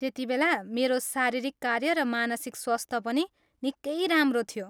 त्यतिबेला मेरो शारीरिक कार्य र मानसिक स्वास्थ्य पनि निकै राम्रो थियो।